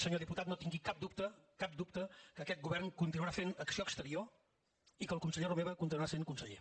senyor diputat no tingui cap dubte cap dubte que aquest govern continuarà fent acció exterior i que el conseller romeva continuarà sent conseller